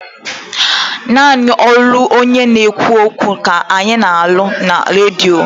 Naanị olu onye na-ekwu okwu ka ana-anụ na Redio.